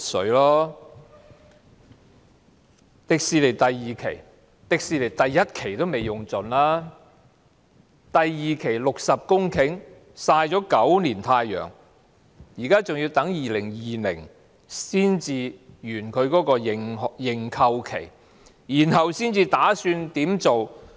至於香港迪士尼樂園第二期的預留土地，第一期的土地尚未用盡，第二期的60公頃曬了9年太陽，認購期還要到2020年才屆滿，然後才打算怎麼做。